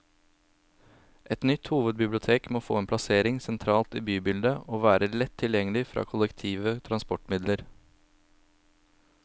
Et nytt hovedbibliotek må få en plassering sentralt i bybildet, og være lett tilgjengelig fra kollektive transportmidler.